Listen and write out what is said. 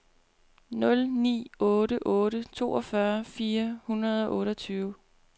nul ni otte otte toogfyrre fire hundrede og otteogtyve